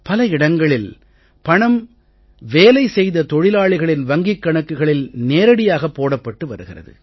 பல இடங்களில் பணம் வேலை செய்த தொழிலாளிகளின் வங்கிக் கணக்கில் நேரடியாக போடப்பட்டு வருகிறது